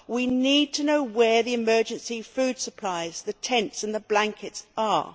We need to know where the emergency food supplies, the tents and the blankets are.